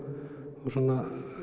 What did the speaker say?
og svona